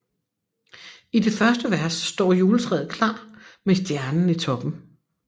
I det første vers står juletræet klar med stjernen i toppen